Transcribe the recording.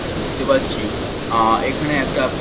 আমরা দেখতে পাচ্ছি আ এখানে একটা--